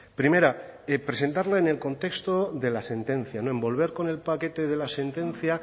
primera presentarla en el contexto de la sentencia envolver con el paquete de la sentencia